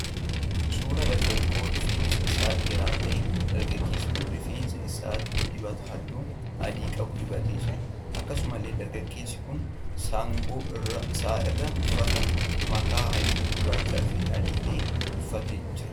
Suuraa dargaggoo rifeensi isaa dheeraa ta'eedha. Dargaggeessi kun rifeensa isaatti dibata halluu adii qabu dibatee jira. Akkasumallee dargaggeessi kun saggoo isaa irra uffata makaa halluu gurraachaa fi adii ta'e buufatee jira.